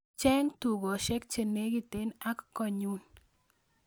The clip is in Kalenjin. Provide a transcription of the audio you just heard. Cheng tukosyek chenegit ak konyun